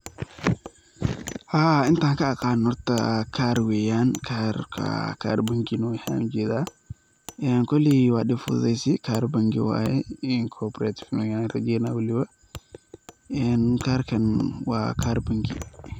Haa intan ka aqano horta kar weyaan karka kar bengi inu yahay ayan u jedaa, koley waa dib fududeysi kar bengi waye kobaratif inu yahay ayan rajeynaya walibo een karkan waa kar bangi.